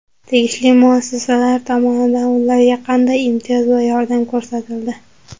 Tegishli muassasalar tomonidan ularga qanday imtiyoz va yordam ko‘rsatildi?